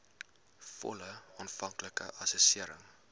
volle aanvanklike assessering